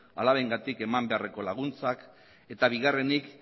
alabengatik eman beharreko laguntzak eta bigarrenik